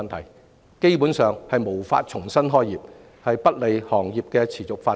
它們基本上無法重新開業，不利於行業的持續發展。